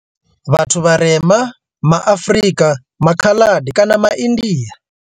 Vhathu vharema ma Afrika, maKhaladi kana maIndia.